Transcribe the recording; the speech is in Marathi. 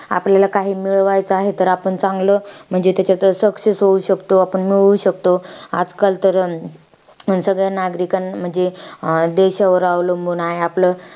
आपल्याला काही मिळवायचं आहे तर आपण चांगलं. म्हणजे त्याच्याच success होऊ शकतो. आपण मिळवू शकतो. आजकाल तर अं सधन नागरिका, म्हंजी देशवर अवलंबून आहे आपलं.